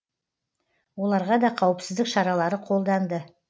оларға да қауіпсіздік шаралары қолданды